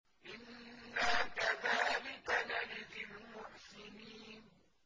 إِنَّا كَذَٰلِكَ نَجْزِي الْمُحْسِنِينَ